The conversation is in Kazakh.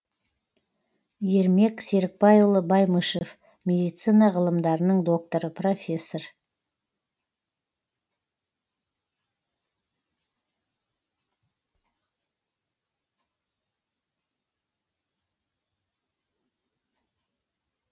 ермек серікбайұлы баймышев медицина ғылымдарының докторы профессор